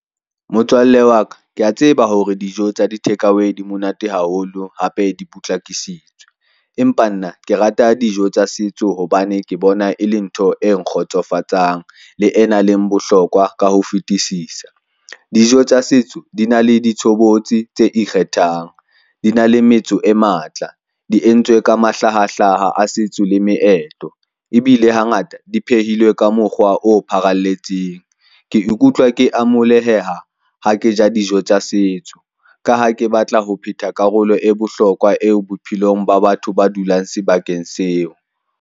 Motswalle wa ka, ke a tseba hore dijo tsa di-takeaway di monate haholo, hape di potlakisitswe. Empa nna ke rata dijo tsa setso hobane ke bona e le ntho e nkgotsofatsang le e nang le bohlokwa ka ho fetisisa. Dijo tsa setso di na le di tshobotsi tse ikgethang, di na le metso e matla, di entswe ka mahlahahlaha a setso le meetlo, ebile ha ngata diphehilwe ka mokgwa o pharaletseng. Ke ikutlwa ke amoleheha ha ke ja dijo tsa setso, ka ha ke batla ho phetha karolo e bohlokwa eo bophelong ba batho ba dulang sebakeng seo.